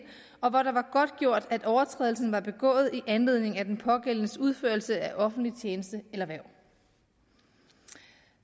og hvor det var godtgjort at overtrædelsen var begået i anledning af den pågældendes udførelse af offentlig tjeneste eller hverv